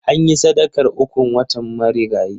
Anyi sadakar ukun wanta marigayi.